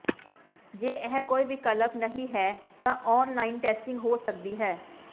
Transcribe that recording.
ਜੇ ਇਹ ਕੋਈ ਵਿਕਲਪ ਨਹੀਂ ਹੈ ਤਾਂ ਔਨਲਾਈਨ ਟੈਸਟਿੰਗ ਹੋ ਸਕਦੀ ਹੈ